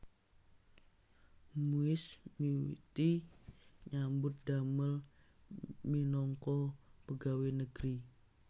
Muis miwiti nyambut damel minangka pegawé negeri